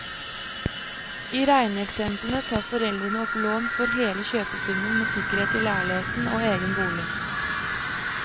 I regneeksemplet tar foreldrene opp lån for hele kjøpesummen med sikkerhet i leiligheten og egen bolig.